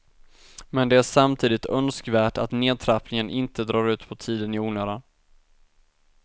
Men det är samtidigt önskvärt att nedtrappningen inte drar ut på tiden i onödan.